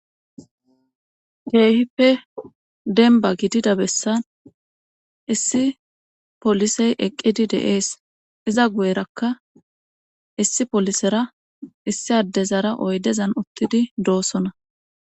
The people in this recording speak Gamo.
keehippe denba gidida bessan issi polisey eqqidi deees iza guyerakka issi polisera issi addezara oydezan uttidi doosona